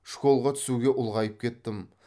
школға түсуге ұлғайып кеттім